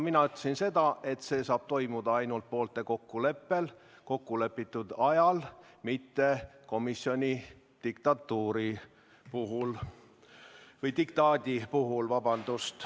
Mina ütlesin seda, et see saab toimuda ainult poolte kokkuleppel kokkulepitud ajal, mitte komisjoni diktaadi peale.